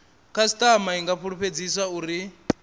khasitama i nga fulufhedziswa uri